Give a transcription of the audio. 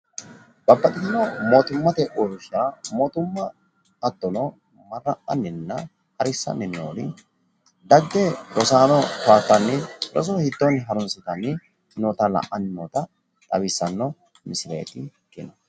Babbaxitino mootimmate uurrinsha mootimma hattono marra'anninna harissanni noori dagge rosaano towaattanni roso hiittoonni harunsitanni noota la'anni noota xawissanno misileeti.